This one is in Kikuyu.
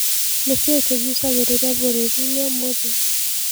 nĩ kĩĩ kĩgũcagĩrĩrĩa bũrũrĩĩni ũmũthĩ